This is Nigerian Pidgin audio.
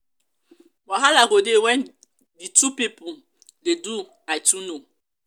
wahala go de when di two pipo de do i too know